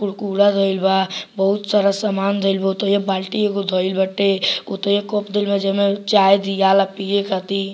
कुरकुरे धइल बा बहुत सारा सामान धइल बा ओतेइये बाल्टी एगो धइल बाटे ओतेइये कप धइल बा जे मे चाय दियाला पिए खातिर।